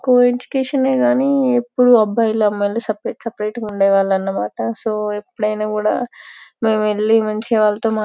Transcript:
కో education యేకాని ఎపుడు అబ్బాయిలు అమ్మాయిలు సెపెరేట్ సెపెరేట్ గా ఉండీ వాళ్మామ్ అన్నమాట సో ఎపుడైన కూడా మేము వెళ్లి మంచిగా వాళ్లతో మా --